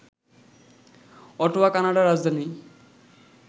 Ottawa কানাডার রাজধানী